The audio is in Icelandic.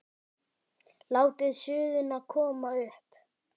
Látið suðuna koma upp.